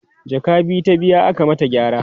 jaka biyu ta biya aka mata gyara